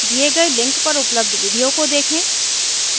दिए गए लिंक पर उपलब्ध विडिओ को देखें